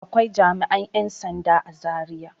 Akwai jami'an 'yan sanda a Zariya.